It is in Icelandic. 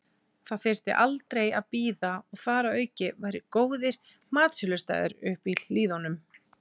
Það þyrfti aldrei að bíða og þar að auki væru góðir matsölustaðir uppi í hlíðunum.